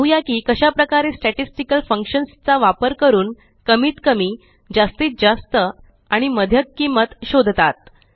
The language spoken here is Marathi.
पाहुया की कशाप्रकारे स्टॅटिस्टिकल फंक्शन्स चा वापर करून कमीत कमी जास्तीत जास्त आणि मध्यक किंमत शोधतात